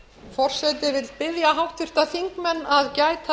forseti vill biðja háttvirta þingmenn að gæta